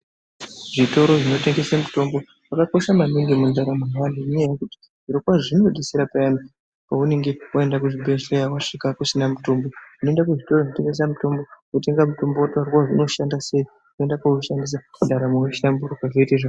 Zvitoro zvinotengese mitombo zvakakosha maningi mundarama yevantu ngekuti zviro kwazvo zvinodetsera payani wasvika kuzvibhedhlera wasvika kusina mitombo unoenda kuzvitoro zvinotengesa mitombo wotenga mutombo wotaurirwa kuti unoshandiswa seyi woenda koushandisa ndaramo yohlamburuka zvoite zvakanaka.